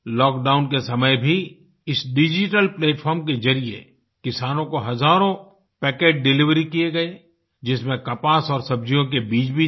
lock down के समय भी इस डिजिटल प्लैटफार्म के जरिये किसानों को हज़ारों पैकेट डिलिवरी किये गए जिसमें कपास और सब्जियों के बीज भी थे